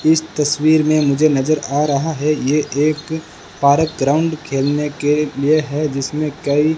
इस तस्वीर में मुझे नजर आ रहा है ये एक पार्क ग्राउंड खेलने के लिए है जिसमें कई --